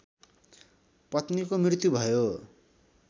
पत्नीको मृत्यु भयो